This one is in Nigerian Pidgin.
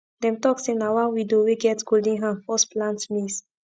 dem talk say na one widow wey get golden hand first plant maize